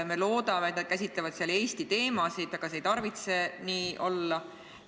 Me loodame, et nad käsitlevad seal Eesti teemasid, aga see ei tarvitse nii olla.